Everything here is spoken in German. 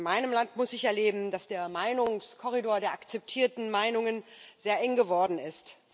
In meinem Land muss ich erleben, dass der Meinungskorridor der akzeptierten Meinungen sehr eng geworden ist.